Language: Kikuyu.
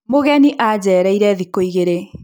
mũgeni ajereire thĩkũ igĩĩrĩ